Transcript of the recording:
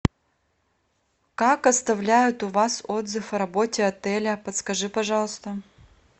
как оставляют у вас отзыв о работе отеля подскажи пожалуйста